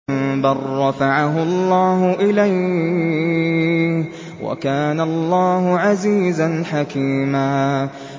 بَل رَّفَعَهُ اللَّهُ إِلَيْهِ ۚ وَكَانَ اللَّهُ عَزِيزًا حَكِيمًا